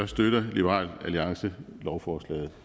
støtter liberal alliance lovforslaget